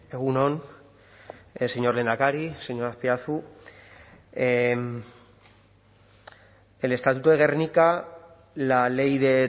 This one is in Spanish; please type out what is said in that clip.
egun on señor lehendakari señor azpiazu el estatuto de gernika la ley de